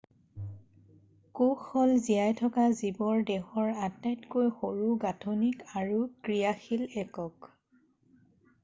কোষ হ'ল জীয়াই থকা জীৱৰ দেহৰ আটাইতকৈ সৰু গাঁঠনিক আৰু ক্ৰিয়াশীল একক